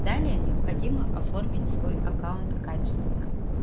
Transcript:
далее необходимо оформить свой аккаунт качественно